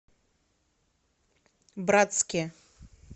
братске